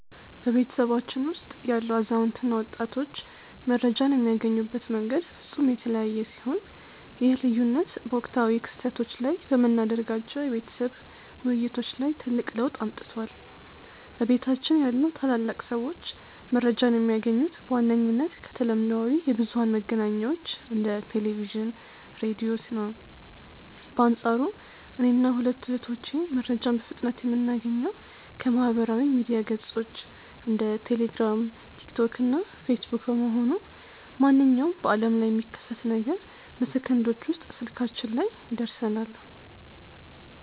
በቤተሰባችን ውስጥ ያሉ አዛውንት እና ወጣቶች መረጃን የሚያገኙበት መንገድ ፍጹም የተለያየ ሲሆን፣ ይህ ልዩነት በወቅታዊ ክስተቶች ላይ በምናደርጋቸው የቤተሰብ ውይይቶች ላይ ትልቅ ለውጥ አምጥቷል። በቤታችን ያሉ ታላላቅ ሰዎች መረጃን የሚያገኙት በዋነኝነት ከተለምዷዊ የብዙኃን መገናኛዎች እንደ ቴሌቪዥን፣ ራዲዮ ነው። በአንፃሩ እኔና ሁለቱ እህቶቼ መረጃን በፍጥነት የምናገኘው ከማኅበራዊ ሚዲያ ገጾች (እንደ ቴሌግራም፣ ቲክቶክ እና ፌስቡክ) በመሆኑ፣ ማንኛውም በዓለም ላይ የሚከሰት ነገር በሰከንዶች ውስጥ ስልካችን ላይ ይደርሰናል።